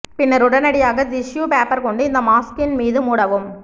பின்னர் உடனடியாக tissue paper கொண்டு இந்த மாஸ்கின் மீது மூடவும்